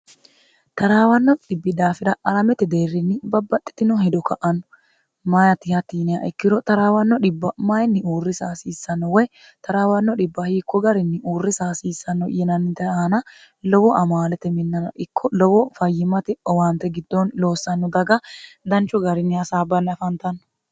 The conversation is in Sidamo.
taraawanno dhibbi daafira alamete deerrinni babbaxxitino hedo ka'anno maati hatti yiniha ikkiro taraawanno dhibba mayinni uurrisa hasiissanno woy taraawanno dhibba hiikko garinni uurrisa hasiissanno yinannite aana lowo amaalete minnana ikko lowo fayyimate owaante giddoon loossanno daga danchu garinni hasaabbanni afantanno